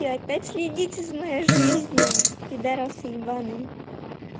и опять следите за моей жизни пидорасы ебанные